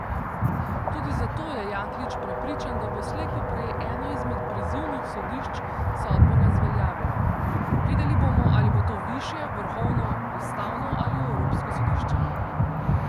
Tudi zato je Jaklič prepričan, da bo slej ko prej eno izmed prizivnih sodišč sodbo razveljavilo: 'Videli bomo ali bo to višje, vrhovno, ustavno ali Evropsko sodišče'.